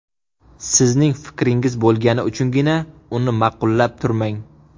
Sizning fikringiz bo‘lgani uchungina uni ma’qullab turmang.